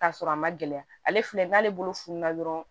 K'a sɔrɔ a ma gɛlɛya ale filɛ n'ale bolo fununna dɔrɔn